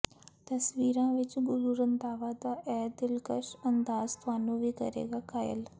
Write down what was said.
ਤਸਵੀਰਾਂ ਵਿੱਚ ਗੁਰੂ ਰੰਧਾਵਾ ਦਾ ਇਹ ਦਿਲਕਸ਼ ਅੰਦਾਜ਼ ਤੁਹਾਨੂੰ ਵੀ ਕਰੇਗਾ ਕਾਇਲ